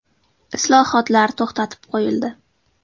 Islohotlar to‘xtatib qo‘yildi.